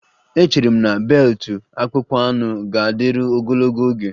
Echere m na beelutu akpụkpọ anụ ga-adịru ogologo oge